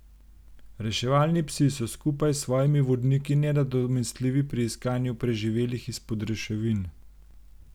Reševalni psi so skupaj s svojimi vodniki nenadomestljivi pri iskanju preživelih izpod ruševin.